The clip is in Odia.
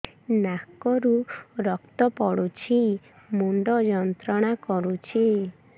ନାକ ରୁ ରକ୍ତ ପଡ଼ୁଛି ମୁଣ୍ଡ ଯନ୍ତ୍ରଣା କରୁଛି